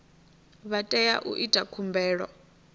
vha tea u ita khumbelo